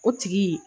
O tigi